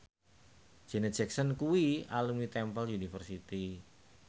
Janet Jackson kuwi alumni Temple University